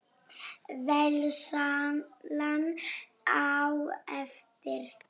Veislan á eftir?